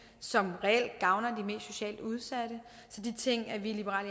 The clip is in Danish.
som reelt gavner de mest socialt udsatte så de ting er vi i liberal